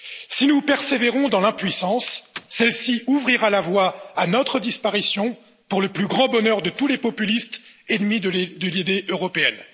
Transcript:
Si nous persévérons dans l'impuissance, celle ci ouvrira la voie à notre disparition, pour le plus grand bonheur de tous les populistes ennemis de l'idée européenne.